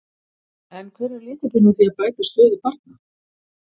En hver er lykillinn að því að bæta stöðu barna?